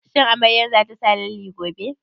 Shin amaryar za ta sa lalle gobe?